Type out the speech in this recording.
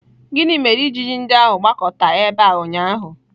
Gịnị mere ijiji ndị ahụ gbakọta ebe a ụnyaahụ?